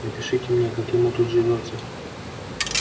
напишите мне как ему тут живётся